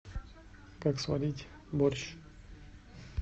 как сварить борщ